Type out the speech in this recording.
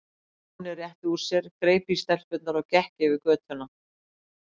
Stjáni rétti úr sér, greip í stelpurnar og gekk yfir götuna.